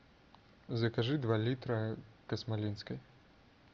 закажи два литра космолинской